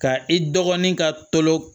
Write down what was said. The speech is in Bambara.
Ka i dɔgɔnin ka tolon